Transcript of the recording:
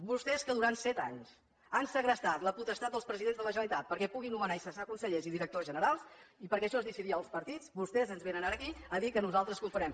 vostès que durant set anys han segrestat la potestat dels presidents de la generalitat perquè puguin nomenar i cessar consellers i directors generals perquè això es decidia als partits vostès ens vénen ara aquí a dir que nosaltres confonem